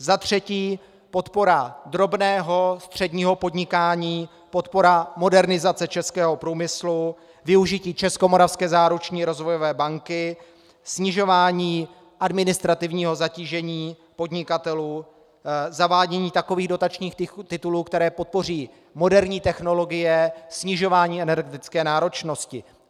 Za třetí - podpora drobného, středního podnikání, podpora modernizace českého průmyslu, využití Českomoravské záruční rozvojové banky, snižování administrativního zatížení podnikatelů, zavádění takových dotačních titulů, které podpoří moderní technologie, snižování energetické náročnosti.